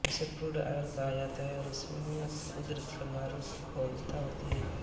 जिसे crude oil कहा जाता है और इसमें उदप्रांगारों की बहुलता होती है